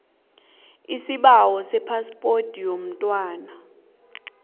isibawo sephaspoti yomntwana